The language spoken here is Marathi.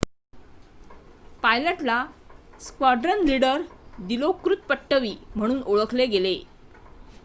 पायलटला स्क्वॉड्रन लीडर दिलोकृत पट्टवी म्हणून ओळखले गेले